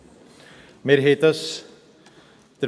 Am 23.11.2016 wurde die Motion «Transparenz jetzt!